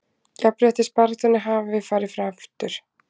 Jafnréttisbaráttunni hafi farið aftur